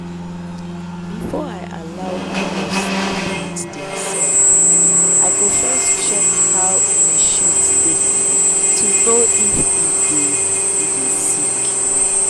before i allow cow sleep with theirself i go first check how en shit deh to know if e dey e dey sick.